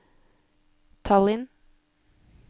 Tallinn